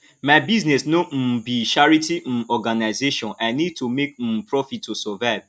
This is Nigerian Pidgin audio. my business no um be charity um organzation i need to make um profit to survive